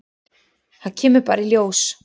Það kemur bara í ljós.